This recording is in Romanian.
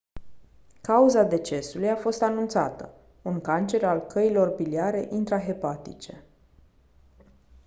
cauza decesului a fost anunțată un cancer al căilor biliare intrahepatice